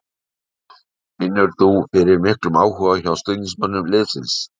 Finnur þú fyrir miklum áhuga hjá stuðningsmönnum liðsins?